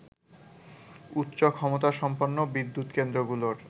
উচ্চ ক্ষমতাসম্পন্ন বিদ্যুৎ কেন্দ্রগুলোর